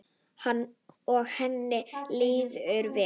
Og henni líður vel.